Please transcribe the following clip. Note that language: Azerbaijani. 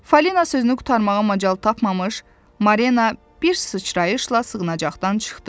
Falina sözünü qurtarmağa macal tapmamış, Marlena bir sıçrayışla sığınacaqdan çıxdı.